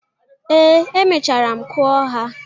Ee, emechara m kụọ ha.